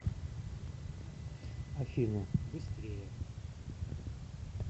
афина быстрее